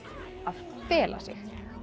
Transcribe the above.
að fela sig